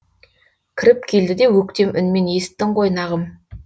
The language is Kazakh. кіріп келді де өктем үнмен есіттің ғой нағым